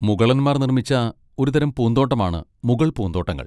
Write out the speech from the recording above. മുഗളന്മാർ നിർമ്മിച്ച ഒരു തരം പൂന്തോട്ടമാണ് മുഗൾ പൂന്തോട്ടങ്ങൾ.